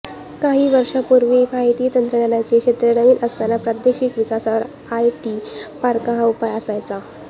काही वर्षांपूर्वी माहिती तंत्रज्ञानाचे क्षेत्र नवीन असताना प्रादेशिक विकासावर आयटी पार्क हा उपाय असायचा